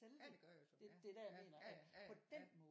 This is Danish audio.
Ja det gør jeg så ja ja ja ja ja ja ja